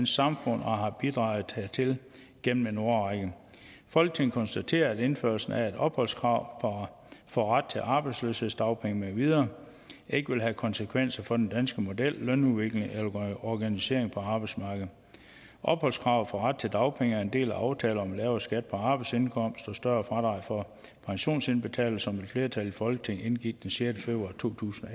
samfund og har bidraget hertil gennem en årrække folketinget konstaterer at indførelsen af et opholdskrav for ret til arbejdsløshedsdagpenge med videre ikke vil have konsekvenser for den danske model lønudviklingen eller organiseringen på arbejdsmarkedet opholdskravet for ret til dagpenge er en del af aftale om lavere skat på arbejdsindkomst og større fradrag for pensionsindbetalinger som et flertal i folketinget indgik den sjette februar to tusind